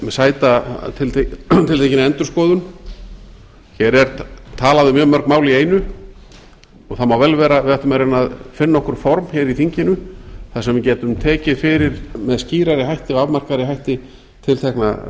sæta tiltekinni endurskoðun hér er talað um mjög mörg mál í einu og það má vel vera að við ættum að reyna að finna okkur form hér í þinginu þar sem við gætum tekið fyrir með skýrari hætti og afmarkaðri hætti tiltekna